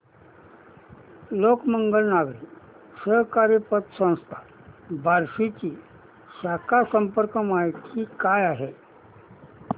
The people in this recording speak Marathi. लोकमंगल नागरी सहकारी पतसंस्था बार्शी ची शाखा संपर्क माहिती काय आहे